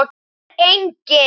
Er enginn?